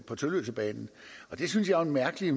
på tølløsebanen det synes jeg er en mærkelig